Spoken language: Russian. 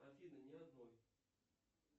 афина ни одной